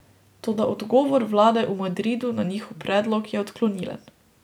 Toda odgovor vlade v Madridu na njihov predlog je odklonilen.